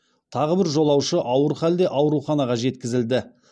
тағы бір жолаушы ауыр халде ауруханаға жеткізілді